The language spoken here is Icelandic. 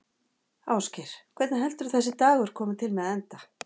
Ásgeir: Hvernig heldurðu að þessi dagur komi til með að enda?